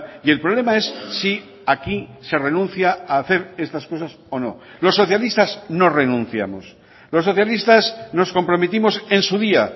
y el problema es sí aquí se renuncia a hacer estas cosas o no los socialistas no renunciamos los socialistas nos comprometimos en su día